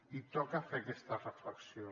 i toca fer aquesta reflexió